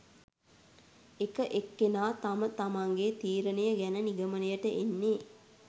එක එක්කෙනා තම තමන්ගේ තීරණය ගැන නිගමනයට එන්නේ